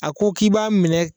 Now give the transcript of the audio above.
A ko k'i b'a minɛ